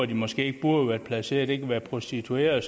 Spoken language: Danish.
de måske ikke burde være placeret der det kan være prostituerede